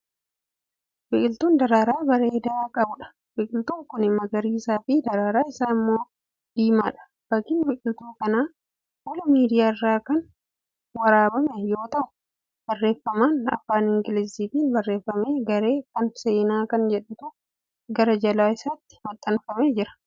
Biqiltuu daraaraa bareedaa qabuudha. biqiltuun Kuni magariisafi daraaraa Isaa immoo diimaadha. fakkiin biqiltuu Kanaa fuula miidiyaarraa Kan waraabame yoo ta'u barreeffaman afaan ingiliiziitiin barreeffame"garee Kan seenaa"Kan jedhutu gara jala isaatti maxxanfamee Jira.